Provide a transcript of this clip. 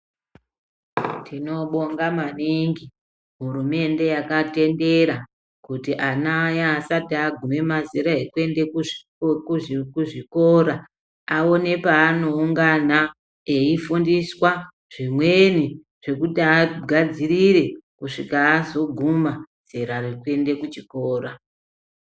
Tinobonga maningi hurumende yakatendera kuti ana aya asati agume mazera ekuende kuzvikora, awone paanoungana eyifundiswa zvimweni zvekuti agadzirire kusvika azoguma zera rekuenda kuchikora.